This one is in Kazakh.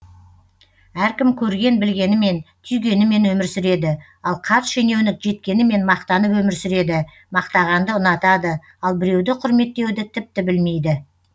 әркім көрген білгенімен түйгенімен өмір сүреді ал қарт шенеунік жеткенімен мақтанып өмір сүреді мақтағанды ұнатады ал біреуді құрметтеуді тіпті білмейді